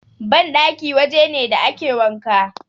Banɗaki waje ne da ake wanka.